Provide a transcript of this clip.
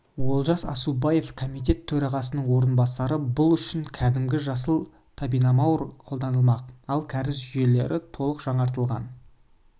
олжас аусабаев комитет төрағасының орынбасары бұл үшін кәдімгі жасыл топинамбур қолданылмақ ал кәріз жүйелері толық жаңғыртылатын